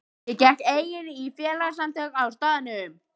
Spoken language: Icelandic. Ég gekk einnig í félagasamtök á staðnum.